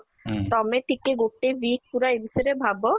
ତମେ ଟିକେ ଗୋଟେ week ପୁରା ଏ ବିଷୟ ରେ ଭାବ